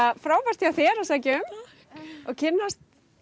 frábært hjá þér að sækja um og kynnast